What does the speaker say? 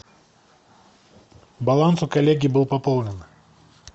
баланс у коллеги был пополнен